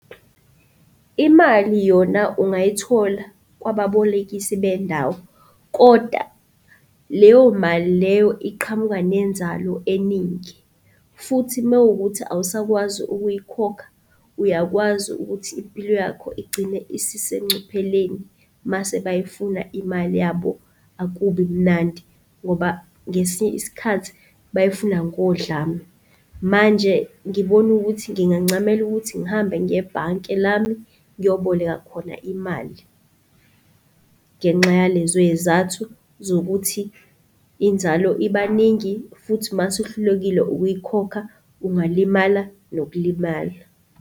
Imali yona ungayithola kwababolekisi bendawo, kodwa leyo mali leyo iqhamuka nenzalo eningi futhi mekuwukuthi awusakwazi ukuyikhokha, uyakwazi ukuthi impilo yakho igcine isisengcupheleni. Mase bayifuna imali yabo akubi mnandi ngoba ngesinye isikhathi bayifuna ngodlame. Manje ngibona ukuthi ngingancamela ukuthi ngihambe ngiye ebhanke lami ngiyoboleka khona imali. Ngenxa yalezoyizathu zokuthi inzalo ibaningi futhi mase uhlulekile ukuyikhokha ungalimalanga nokulimala.